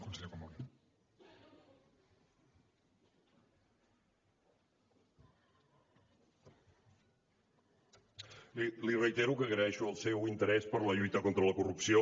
miri li reitero que agraeixo el seu interès per la lluita contra la corrupció